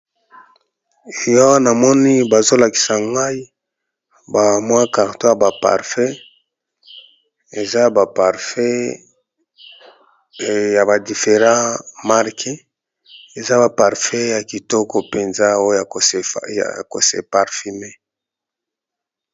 Eh awa moni bazo lakisa ngai ba mwa carton ya ba parfum, eza ba parfum ya ba different marque eza ba parfum ya kitoko mpenza oyo ya ko se parfume.